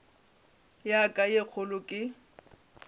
ya ka ye kgolo ke